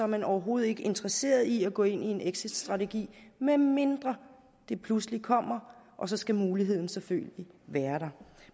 man overhovedet ikke interesseret i at gå ind i en exitstrategi medmindre det pludselig kommer og så skal muligheden selvfølgelig være der